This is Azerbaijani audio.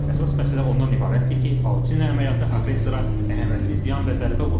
Əsas məsələ ondan ibarətdir ki, Pauçina əməliyyatı aqressora əhəmiyyətli ziyan və zərbə vurur.